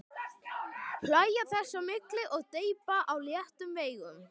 Hlæja þess á milli og dreypa á léttum veigum.